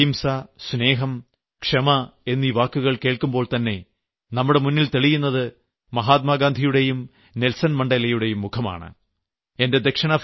ലോകത്ത് അഹിംസ സ്നേഹം ക്ഷമ എന്നീ വാക്കുകൾ കേൾക്കുമ്പോൾതന്നെ നമ്മുടെ മുന്നിൽ തെളിയുന്നത് മഹാത്മാഗാന്ധിയുടെയും നെൽസൺമണ്ഡേലയുടെയും മുഖമാണ്